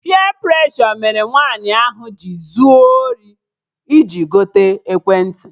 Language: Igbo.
Peer preshọ mere nwaanyị ahụ zuo ori iji gote ekwentị